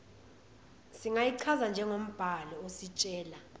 singayichaza njengombhalo ositshela